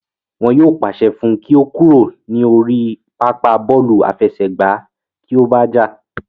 Wọn yóò pàṣẹ fún un kí ó kúrò ní orí pápá bọ́ọ̀lù àfẹsẹ̀gbá kí ó bá jà